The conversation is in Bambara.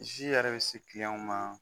Si yɛrɛ bi se ma